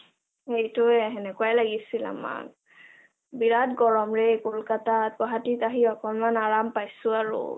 হেইটোৱে হেনেকুৱাই লাগিছিল আমাক, বিৰাত গৰম ৰে কলকতাত গুৱাহাটীত আহি অকণমান আৰাম পাইছো আৰু